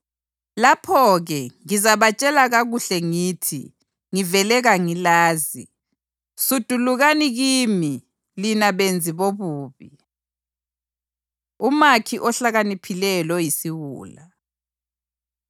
Lapho-ke, ngizabatshela kakuhle ngithi, ‘Ngivele kangilazi. Sudulukani kimi, lina benzi bobubi!’ ” Umakhi Ohlakaniphileyo Loyisiwula